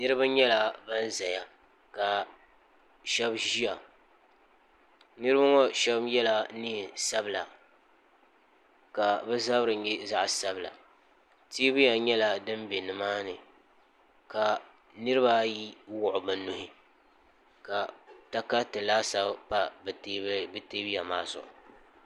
niriba nyɛla ban yɛ ka shɛb ʒɛya niriba ŋɔ shɛb yɛla nɛsabila ka be zabiri nyɛ zaɣ' sabila tɔbuya nyɛla do bɛ ni maani ka niribaayi wuɣ be nuhi ka takaritɛ laasabu pa be tɛbuya maa zuɣ'